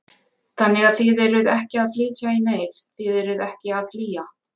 Þannig að þið eruð ekki að flytja í neyð, þið eruð ekki að flýja?